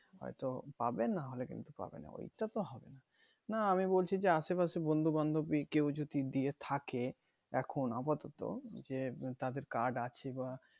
হয়তো পাবে নাহলে কিন্তু পাবেনা ওইটাতে হবেনা না আমি বলছি যে আশেপাশে বন্ধু বান্ধবী কেউ যদি দিয়ে থাকে এখন আপাতত যে তাদের card আছে বা